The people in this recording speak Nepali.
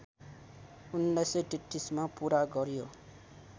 १९३३मा पुरा गर्‍यो